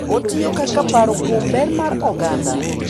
Otiyo kaka paro kuom ber mar oganda,